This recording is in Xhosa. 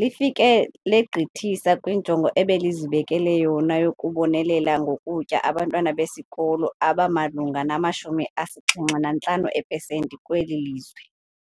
lifike legqithisa kwinjongo ebelizibekele yona yokubonelela ngokutya abantwana besikolo abamalunga nama-75 eepesenti kweli lizwe.